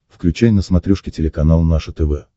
включай на смотрешке телеканал наше тв